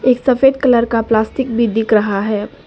एक सफेद कलर का प्लास्टिक भी दिख रहा है।